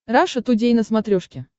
раша тудей на смотрешке